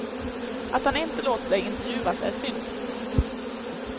Att han inte låter sig intervjuas är synd.